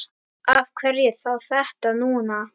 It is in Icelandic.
Af hverju þá þetta núna?